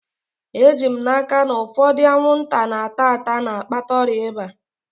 Eji m n'aka, na ụfọdụ anwụnta na-ata ata na-akpata ọrịa ịba